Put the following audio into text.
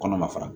Kɔnɔ ma fara